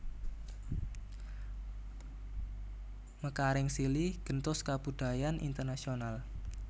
Mekaring silih gentos kabudayan internasional